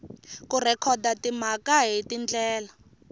ku rhekhoda timhaka hi tindlela